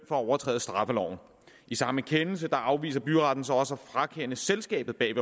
at overtræde straffeloven i samme kendelse afviser byretten så også at frakende selskabet bag